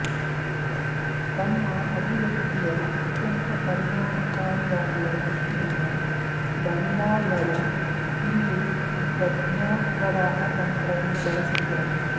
ತಮ್ಮ ಅಭಿವ್ಯಕ್ತಿಯ ಅತ್ಯಂತ ಪರಿಣಾಮಕಾರಿಯಾಗುವ ದೃಷ್ಟಿಯಿಂದ ಬಲ್ಲಾಳರು ಇಲ್ಲಿ ಪ್ರಜ್ಞಾಪ್ರವಾಹ ತಂತ್ರವನ್ನು ಬಳಸಿದ್ದಾರೆ